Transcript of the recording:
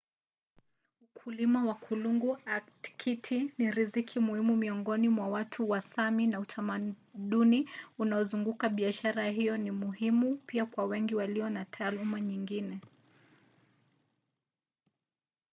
ukulima wa kulungu aktiki ni riziki muhimu miongoni mwa watu wa sámi na utamaduni unaozunguka biashara hiyo ni muhimu pia kwa wengi walio na taaluma nyingine